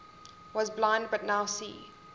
was blind but now see